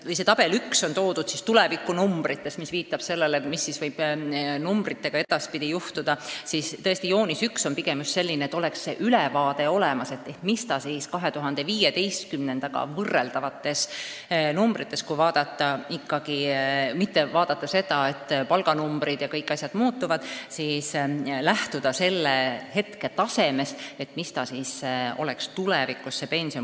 Jah, kui tabel 1 kajastab tulevikunumbreid, viidates sellele, mis võib numbritega edaspidi juhtuda, siis tõesti joonis 1 on tehtud pigem eesmärgiga, et oleks olemas ülevaade tänu 2015. aasta võrreldavatele numbritele.